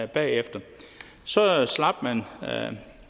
bagefter så slap man